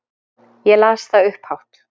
Ég las það upphátt.